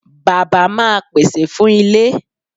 Bàbá máa pèsè fún ilé.